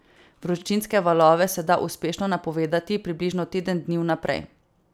Vročinske valove se da uspešno napovedati približno teden dni vnaprej.